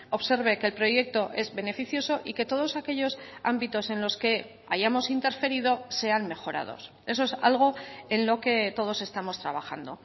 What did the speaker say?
observe que el proyecto es beneficioso y que todos aquellos ámbitos en los que hayamos interferido sean mejorados eso es algo en lo que todos estamos trabajando